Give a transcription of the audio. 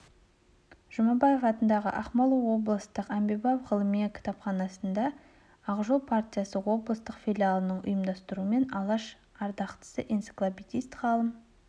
жұмабаев атындағы ақмола облыстық әмбебап-ғылыми кітапханасында ақ жол партиясы облыстық филиалының ұйымдастыруымен алаш ардақтысы энциклопедист ғалым